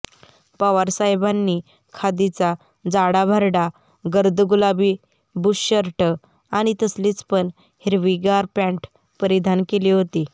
पवारसाहेबांनी खादीचा जाडाभरडा गर्द गुलाबी बुशशर्ट आणि तसलीच पण हिरवीगार पँट परिधान केली होती